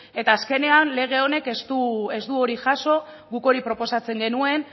eta azkenean lege honek ez du hori jaso guk hori proposatzen genuen